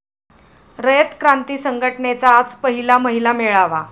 रयत क्रांती संघटनेचा आज पहिला महिला मेळावा